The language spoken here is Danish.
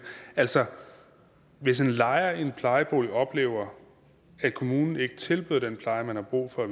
altså hvis en lejer i en plejebolig oplever at kommunen ikke tilbyder den pleje man har brug for og